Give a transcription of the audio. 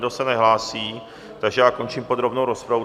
Nikdo se nehlásí, takže já končím podrobnou rozpravu.